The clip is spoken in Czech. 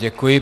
Děkuji.